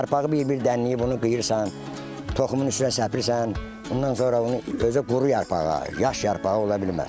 Yarpağı bir-bir dənləyib bunu qıyıırsan, toxumun üstünə səpib, ondan sonra bunun özü quru yarpağa yaş yarpağı ola bilməz.